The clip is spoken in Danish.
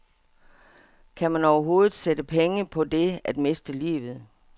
Kan man overhovedet sætte penge på det at miste livet?